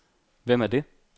Hvem er det